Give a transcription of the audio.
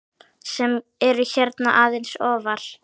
sem eru hérna aðeins ofar.